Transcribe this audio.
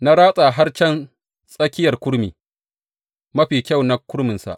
Na ratsa har can tsakiyar kurmi, mafi kyau na kurminsa.